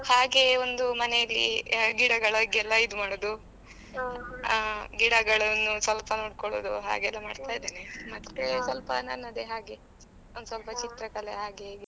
ಹಾಗೆ ಒಂದು ಮನೇಲಿ ಗಿಡಗಳಿಗೆ ಎಲ್ಲ ಇದು ಮಾಡೋದು ಆ ಗಿಡಗಳನ್ನು ಸ್ವಲ್ಪ ನೋಡ್ಕೊಳುದು ಹಾಗೆ ಎಲ್ಲ ಮಾಡ್ತಾ ಇದ್ದೇನೆ ಮತ್ತೆ ಸ್ವಲ್ಪ ನನ್ನದೆ ಹಾಗೆ ಒಂದು ಸ್ವಲ್ಪ ಚಿತ್ರಕಲೆ ಹಾಗೆ ಹೀಗೆ.